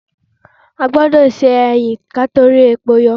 A gbọ́dọ̀ se ẹyìn kí a tó répo yọ